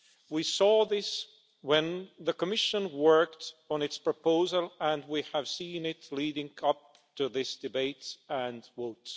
We saw this when the Commission worked on its proposal and we have seen it leading up to this debate and votes.